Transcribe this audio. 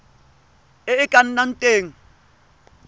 e e ka nnang teng